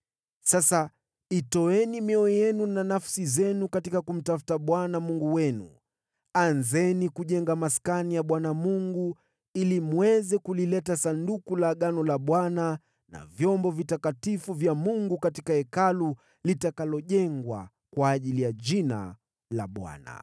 Sasa itoeni mioyo yenu na nafsi zenu katika kumtafuta Bwana Mungu wenu. Anzeni kujenga Maskani ya Bwana Mungu, ili mweze kulileta Sanduku la Agano la Bwana na vyombo vitakatifu vya Mungu katika Hekalu litakalojengwa kwa ajili ya Jina la Bwana .”